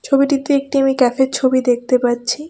ছবিতে একটি আমি ক্যাফের ছবি দেখতে পাচ্ছি।